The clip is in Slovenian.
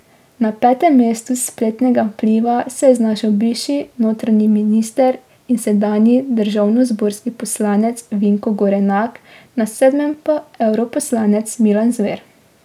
Na petem mestu spletnega vpliva se je znašel bivši notranji minister in sedanji državnozborski poslanec Vinko Gorenak, na sedmem pa evroposlanec Milan Zver.